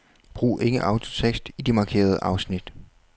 Brug ikke autotekst i de markerede afsnit.